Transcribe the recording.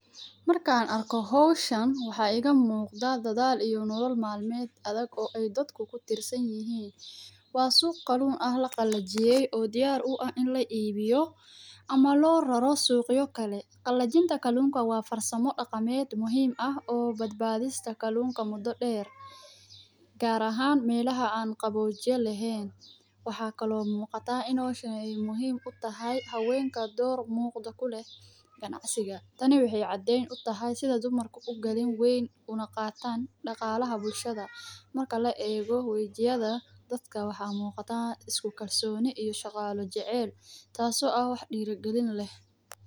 Markan arko howshan waxaa iga muqdaa dadhal iyo nolol mal meed adhag ee dadku kutirsan yihin kuwas oo kalun laqalajiyey oo diyar u ah in laibiyo ama lo raro suqya kale qalajinta kalunka waa farsamo daqameed muhiim ah oo bad badista kalunka mudo deer gar ahan melaha an qawojiya lahen waxaa kale oo muqata in howshan muhiim utahay hawenka dor muqdo kuleh ganacsiga tani waxee aden u tahay sitha dumarka ugalin weyn una qatan daqalaha bulshaada marka laego wajiyaada dadka waxan muqda isku kalsoni iyo shaqalo jacel tas oo ah wax dira galin leh.